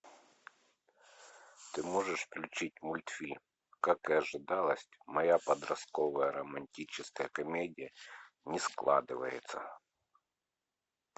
ты можешь включить мультфильм как и ожидалось моя подростковая романтическая комедия не складывается